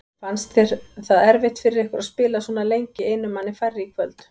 Fannst þér það erfitt fyrir ykkur að spila svona lengi einum manni færri í kvöld?